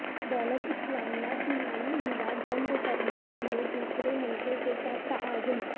دولت اسلامیہ کی مالی امداد بند کرنے کے لیے دوسرے ملکوں کے ساتھ تعاون